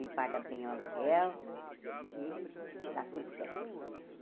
Ele paga bem o aluguel e dá tudo certo.